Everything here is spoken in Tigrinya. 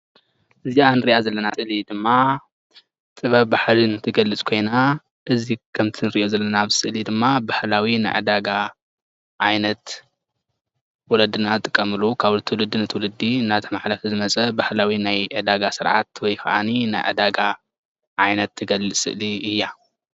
እዛ እንሪእያ ዘለና ስእሊ ድማ ጥበብ ብህልን ትገልፅ ኮይና እዙይ ከምቲእንሪእዮ ዘለና ኣብ ስእሊ ድማ ባህላዊ ናይ ዒዳጋ ዓይነት ወለድና ዝጥቀምሉ ካብ ትውልዲ ናብ ትውልዲ እናተመሓላለፈ ዝመፀ ባህላዊ ናይ ዒዳጋ ስርዓት ወይ ከዓኒ ናይ ዒዳጋ ዓይነት ትገልፅ ስእሊ እያ።